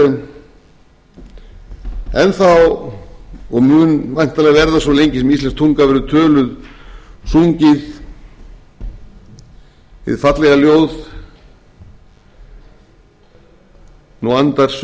það er enn þá og mun væntanlega verða svo lengi sem íslensk tunga verður töluð sungið hið fallega ljóð nú andar